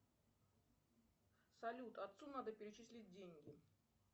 салют отцу надо перечислить деньги